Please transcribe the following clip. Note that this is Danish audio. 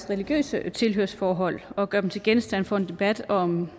religiøse tilhørsforhold og gør dem til genstand for en debat om